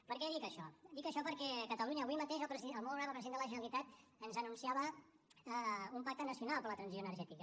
per què dic això dic això perquè a catalunya avui mateix el molt honorable president de la generalitat ens anunciava un pacte nacional per a la transició energètica